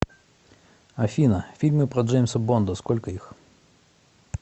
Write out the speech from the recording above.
афина фильмы про джеимса бонда сколько их